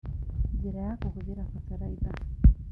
Njĩra ya kũhũthĩra bataraitha